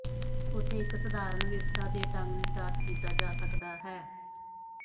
ਉੱਥੇ ਇੱਕ ਸਧਾਰਨ ਵਿਵਸਥਾ ਦੇ ਢੰਗ ਨਿਰਧਾਰਤ ਕੀਤਾ ਜਾ ਸਕਦਾ ਹੈ